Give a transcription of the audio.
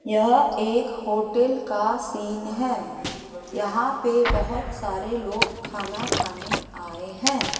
यह एक होटल का सीन हैं यहां पे बहोत सारे लोग खाना खाने आएं हैं।